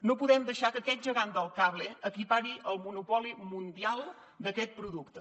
no podem deixar que aquest gegant del cable acapari el monopoli mundial d’aquest producte